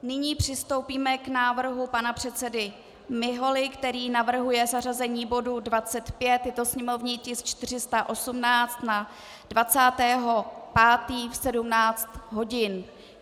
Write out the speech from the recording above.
Nyní přistoupíme k návrhu pana předsedy Miholy, který navrhuje zařazení bodu 25, je to sněmovní tisk 418, na 20. 5. v 17 hodin.